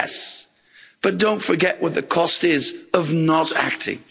Yes, but don't forget what the cost is of not acting.